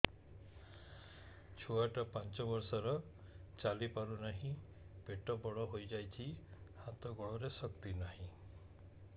ଛୁଆଟା ପାଞ୍ଚ ବର୍ଷର ଚାଲି ପାରୁ ନାହି ପେଟ ବଡ଼ ହୋଇ ଯାଇଛି ହାତ ଗୋଡ଼ରେ ଶକ୍ତି ନାହିଁ